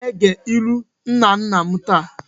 Anyị aga-ege ilu nna nna m taa!?